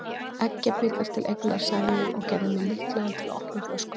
Eggjabikar til eignar, sagði ég og gerði mig líklegan til að opna flöskuna.